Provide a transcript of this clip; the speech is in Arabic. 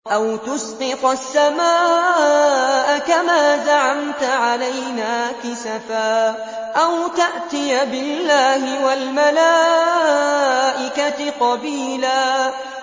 أَوْ تُسْقِطَ السَّمَاءَ كَمَا زَعَمْتَ عَلَيْنَا كِسَفًا أَوْ تَأْتِيَ بِاللَّهِ وَالْمَلَائِكَةِ قَبِيلًا